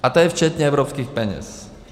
A to je včetně evropských peněz.